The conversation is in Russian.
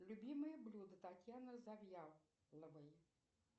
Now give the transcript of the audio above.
любимые блюда татьяны завьяловой